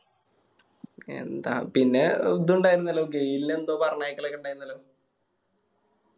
എന്താ പിന്നെ ഇതും ഇണ്ടായിന്നല്ലോ ഗെയില് എന്തോ പറഞ്ഞയക്കലൊക്കെ ഇണ്ടായിന്നല്ലോ